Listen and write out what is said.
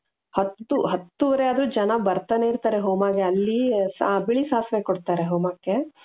ಹತ್ತು ಹತ್ತೂವರೆ ಆದ್ರೂ ಜನ ಬರ್ತಾನೆ ಇರ್ತಾರೆ ಹೋಮಾಗೆ ಅಲ್ಲಿ ಬಿಳಿ ಸಾಸಿವೆ ಕೊಡ್ತಾರೆ ಹೋಮಕ್ಕೆ .